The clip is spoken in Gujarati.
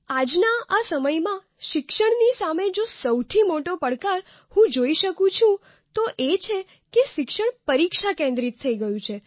આજના આ સમયમાં શિક્ષણની સામે જો સૌથી મોટો પડકાર હું જોઈ શકું છું તે છે કે શિક્ષણ પરીક્ષા કેન્દ્રિત થઈ ગયું છે